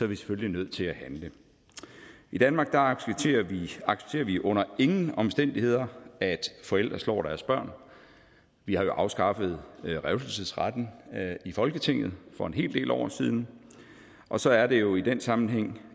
vi selvfølgelig nødt til at handle i danmark accepterer vi accepterer vi under ingen omstændigheder at forældre slår deres børn vi har jo afskaffet revselsesretten i folketinget for en hel del år siden og så er det jo i den sammenhæng